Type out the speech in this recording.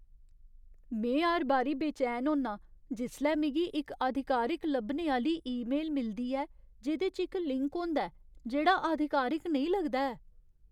में हर बारी बेचैन होन्नां जिसलै मिगी इक आधिकारिक लब्भने आह्‌ली ईमेल मिलदी ऐ जेह्‌दे च इक लिंक होंदा ऐ जेह्ड़ा आधिकारिक नेईं लगदा ऐ।